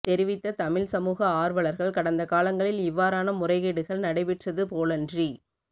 தெரிவித்த தமிழ் சமூக ஆர்வலர்கள் கடந்த காலங்களில் இவ்வாறான முறைகேடுகள் நடைபெற்றது போலன்றி